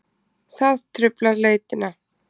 Það truflar leitina.